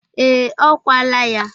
Ee, o kwala ya.